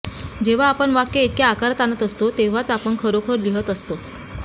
जेव्हा आपण वाक्य इतक्या आकारात आणत असतो तेव्हाच आपण खरोखर लिहीत असतो